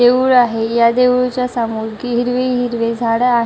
देऊळ आहे या देऊळच्या समोर हिरवी हिरवी झाडं आहे--